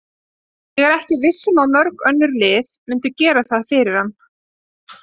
Ég er ekki viss um að mörg önnur lið myndu gera það fyrir hann.